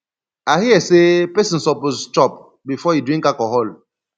i hear sey pesin suppose chop before e drink alcohol